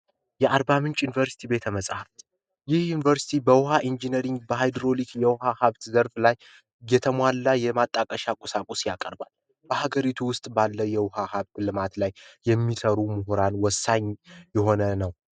የአርባምንጭ ዩኒቨርሲቲ ቤተ መጻፍት ዩኒቨርስቲ በውሃ ኢንጂነሪንግ ላይ የተሟላ የማጣቀሻ ቁሳቁስ ያቀርባል በሀገሪቱ ውስጥ ባለው የውሃ ልማት ላይ የሚሰሩ ምሁራን ወሳኝ የሆነ ነው